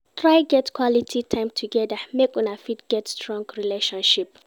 Try get quality time together make Una fit get strong relationship